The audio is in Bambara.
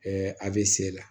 a bɛ se la